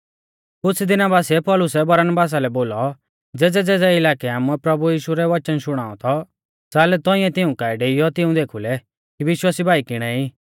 कुछ़ दिना बासिऐ पौलुसै बरनबासा लै बोलौ ज़ेज़ैज़ेज़ै इलाकै आमुऐ प्रभु यीशु रौ वचन शुणाऔ थौ च़ाल तौंइऐ तिऊं काऐ डेइयौ तिऊं देखुलै कि विश्वासी भाई किणे ई